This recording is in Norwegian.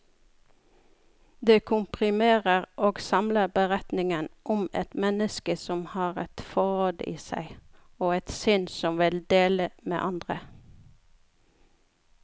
Det komprimerer og samler beretningen om et menneske som har et forråd i seg, og et sinn som vil dele med andre.